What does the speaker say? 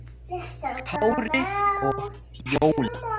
Kári og Fjóla.